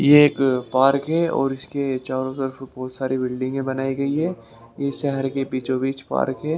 ये एक पार्क है और इसके चारों तरफ बहुत सारी बिल्डिंगें बनाई गई है ये शहर के बीचो बीच पार्क है।